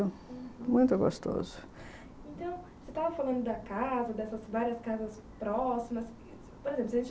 Uhum, muito gostoso. Então, você estava falando das casas, dessas várias casas próximas, por exemplo, você tinha